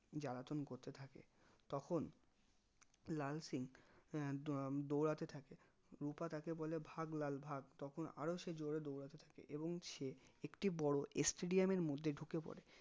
জ্বালাতন করতে থাকে তখন লাল সিং আহ দৌড়াতে থাকে রুপা তাকে বলে ভাগ লাল ভাগ তখন আরো সে জোরে দৌড়াতে থাকে এবং সে একটি বড়ো stadium এর মধ্যে ঢুকে পরে